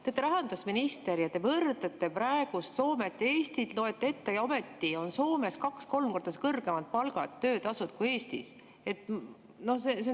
Te olete rahandusminister ja te võrdlesite praegust Soomet ja Eestit, lugesite ette, ometi on Soomes kaks-kolm korda kõrgemad palgad, töötasud kui Eestis.